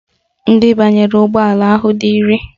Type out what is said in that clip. Ndị banyere ụgbọala ahụ dị iri